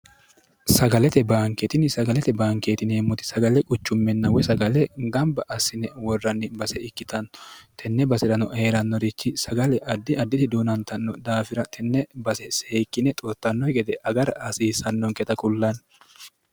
sagalete baankeetinni sagalete baankeetini heemmoti sagale quchumminnawoy sagale gamba assine worranni base ikkitanno tenne basi'rano hee'rannorichi sagale addi additi duunantanno daafira tenne base seekkine xoottannoi gede agara hasiisannonketa kullanni